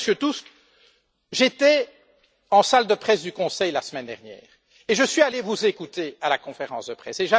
Cher Monsieur Tusk, j'étais en salle de presse du Conseil la semaine dernière et je suis allé vous écouter à la conférence de presse.